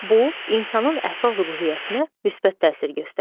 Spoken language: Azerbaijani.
Bu insanın əhval-ruhiyyəsinə müsbət təsir göstərir.